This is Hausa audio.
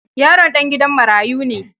Yaron ɗan gidan marayu ne.